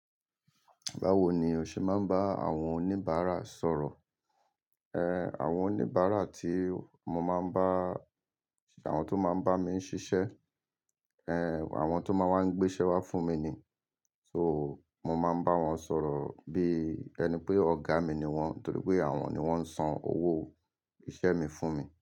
Báwo ni o ṣe máa ń bá àwọn oníbàárà sọ̀rọ̀? Ehn, àwọn oníbàárà tí mo máa ń bá, àwọn tó máa ń bá mi ṣiṣẹ́, ehn àwọn tó máa ń wá gbé iṣẹ́ wá fún mi ni, so mo máa ń bá wọn sọ̀rọ̀ bí ẹni pé ọ̀gá mi ni wọ́n torí pé àwọn ni wọ́n ń san owó iṣẹ́ mi fún mi.